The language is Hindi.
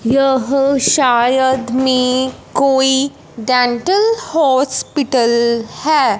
यह शायद में कोई डेंटल हॉस्पिटल है।